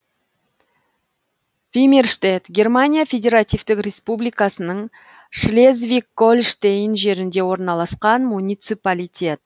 вимерштедт германия федеративтік республикасының шлезвиг гольштейн жерінде орналасқан муниципалитет